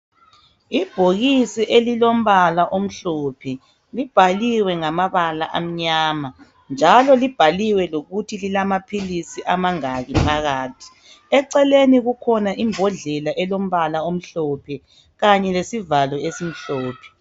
Ibhokisi elilombala omhlophe libhaliwe ngamabala amnyama njalo libhaliwe lokuthi lilamaphilizi ayingaki phakathi eceleni kulembodlela elombala omhlophe kanye lesivalo esimhlophe